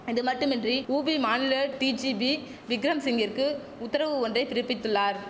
இதுமட்டுமின்றி UP மாநில DGP Vikram சிங்கிற்கு உத்தரவு ஒன்றை பிறப்பித்துள்ளார்